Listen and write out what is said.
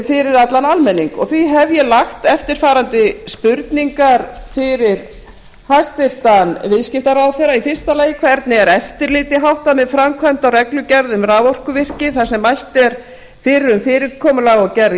fyrir allan almenning því hef ég lagt eftirfarandi spurningar fyrir hæstvirtur viðskiptaráðherra fyrsta hvernig er eftirliti háttað með framkvæmd á reglugerð um raforkuvirki þar sem mælt er fyrir um